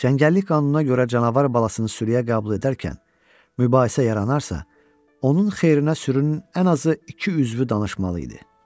Çəngəllik qanununa görə canavar balasını sürüyə qəbul edərkən mübahisə yaranarsa, onun xeyrinə sürünün ən azı iki üzvü danışmalı idi.